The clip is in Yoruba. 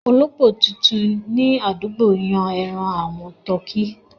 Olópò titun ni àdúgbò yin àwọn ẹran tuọkí.